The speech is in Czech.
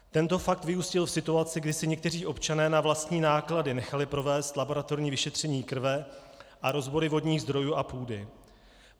Tento fakt vyústil v situaci, kdy si někteří občané na vlastní náklady nechali provést laboratorní vyšetření krve a rozbory vodních zdrojů a půdy.